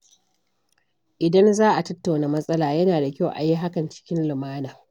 Idan za a tattauna matsala, yana da kyau a yi hakan cikin lumana.